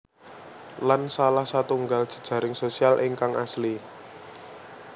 Lan salah satunggal jejaring sosial ingkang asli